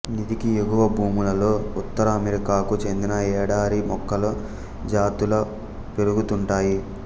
నిదికి ఎగువ భూములలో ఉత్తర అమెరికాకు చెందిన ఎడారి మొక్కల జాతుల పెరుగుతుంటాయి